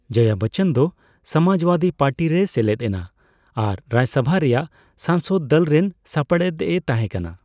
ᱡᱚᱭᱟ ᱵᱚᱪᱚᱱ ᱫᱚ ᱥᱚᱢᱟᱡᱽᱵᱟᱫᱤ ᱯᱟᱹᱴᱤ ᱨᱮᱭ ᱥᱮᱞᱮᱫ ᱮᱱᱟ ᱾ ᱟᱨ ᱨᱟᱡᱥᱚᱵᱷᱟ ᱨᱮᱭᱟᱜ ᱥᱟᱝᱥᱚᱫ ᱫᱚᱞ ᱨᱮᱱ ᱥᱟᱯᱲᱮᱫ ᱮ ᱛᱟᱦᱮ ᱠᱟᱱᱟ ᱾